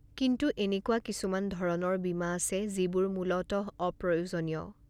কিন্তু এনেকুৱা কিছুমান ধৰণৰ বীমা আছে যিবোৰ মূলতঃ অপ্ৰয়োজনীয়।